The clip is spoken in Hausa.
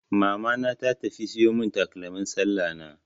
Mamana ta tafi siyo mun takalmin sallah na.